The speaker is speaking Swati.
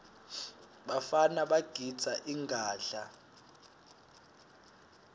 bafana bagidza ingadla